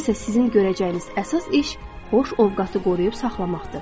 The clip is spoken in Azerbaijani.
İndi isə sizin görəcəyiniz əsas iş xoş ovqatı qoruyub saxlamaqdır.